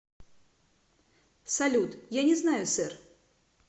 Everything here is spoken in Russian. салют я не знаю сэр